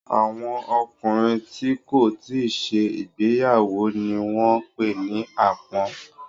Àwọn ọkùnrin tí kò tíì ṣe ìgbéyàwó ni wọ́n ń pè ní àpọ́n.